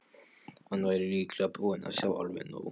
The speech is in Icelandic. Hann væri líklega búinn að sjá alveg nóg.